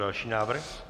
Další návrh.